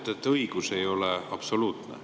Te ütlete, et õigus ei ole absoluutne.